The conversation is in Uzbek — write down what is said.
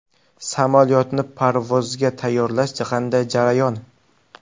Samolyotni parvozga tayyorlash qanday jarayon?